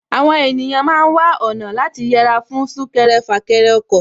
Àwọn ènìyàn ma ń wá ọ̀nà láti yẹra fún súnkẹrẹ fàkẹrẹ ọkọ̀